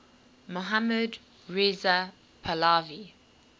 mohammad reza pahlavi